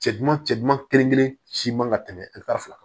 Cɛ duman cɛ duman kelen kelen si man ka tɛmɛ fila kan